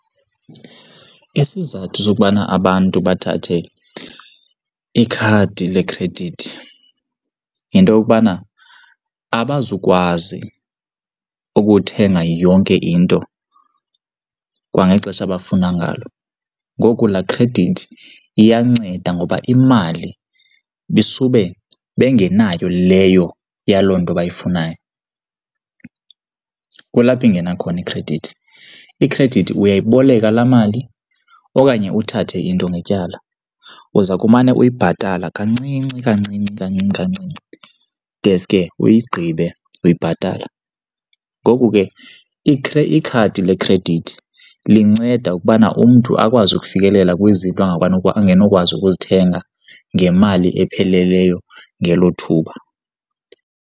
Isizathu sokubana abantu bathathe ikhadi lekhredithi yinto yokubana, abazukwazi ukuthenga yonke into kwangexesha abafuna ngalo. Ngoku laa khredithi iyanceda ngoba imali ibisube bengenayo leyo yaloo nto bayifunayo, kulapho ingena khona ikhredithi. Ikhredithi uyayiboleka laa mali okanye uthathe into ngetyala, uza kumane uyibhatala kancinci kancinci kancinci kancinci deske uyigqibe uyibhatala. Ngoku ke ikhadi lekhredithi linceda ukubana umntu akwazi ukufikelela kwizinto angenokwazi ukuzithenga ngemali epheleleyo ngelo thuba.